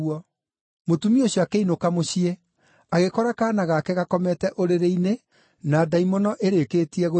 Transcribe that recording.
Mũtumia ũcio akĩinũka mũciĩ agĩkora kaana gake gakomete ũrĩrĩ-inĩ na ndaimono ĩrĩkĩtie gũthiĩ.